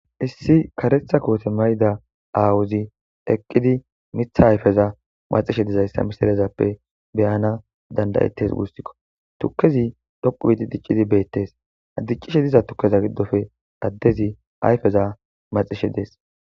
Issi karetha koote mayda aawuzi eqqidi mitha ayfeza maxishe dizayssa misarezappe beyana dandayettes wussikko tukkezi dhoqu biidi diccidi beettes addiccishe diza tukkeza giddofe addezi ayfeza maxishe dees